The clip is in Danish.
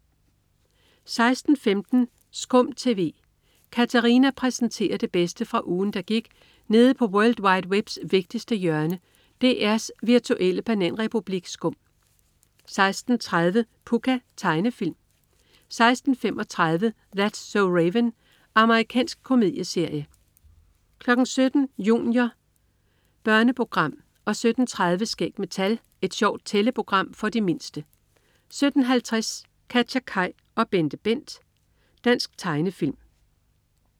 16.15 SKUM TV. Katarina præsenterer det bedste fra ugen, der gik nede på world wide webs vigtigste hjørne, DR's virtuelle bananrepublik SKUM 16.30 Pucca. Tegnefilm 16.35 That's so Raven. Amerikansk komedieserie 17.00 Junior. Børneprogram 17.30 Skæg med tal. Et sjovt tælleprogram for de mindste 17.50 KatjaKaj og BenteBent. Dansk tegnefilm